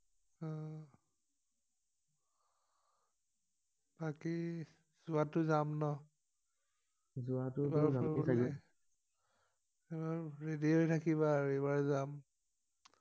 বাকি যোৱাটো যাম ন যোৱাটো হলে যাবগে চাগে আৰু ৰেদি হৈ থাকিবা আৰু এইবাৰ যাম